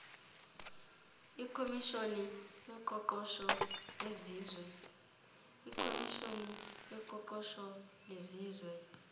ikhomishoni yoqoqosho yezizwe